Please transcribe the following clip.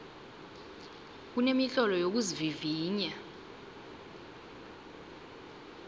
kunemitlolo yokuzivivinya